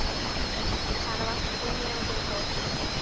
Hana vantar fimm mínútur í tólf